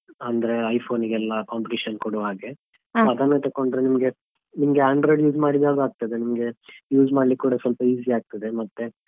ಅಂದ್ರೆ iPhone ಗೆಲ್ಲ competition ಕೊಡುವ ಹಾಗೆ ಅದನ್ನ ತಕೊಂಡ್ರೆ ನಿಮ್ಗೆ ನಿಮ್ಗೆ Android use ಮಾಡಿದ್ರೆ ಯಾವ್ದಾಗ್ತದೆ ಅಂದ್ರೆ ನಿಮ್ಗೆ use ಮಾಡ್ಲಿಕ್ಕೂ ಕೂಡ easy ಆಗ್ತದೆ.